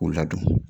K'u ladon